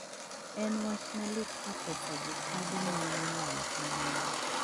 En wach malit ka pesa jochadi nyalo lal kamano.